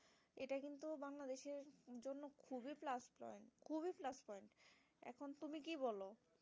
তুমি কি বলো?